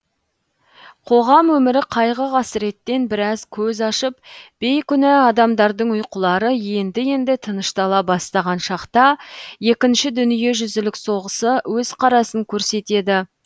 қоғам өмірі қайғы қасіреттен біраз көз ашып бейкүна адамдардың ұйқылары енді енді тыныштала бастаған шақта екінші дүниежүзілік соғысы өз қарасын көрсетеді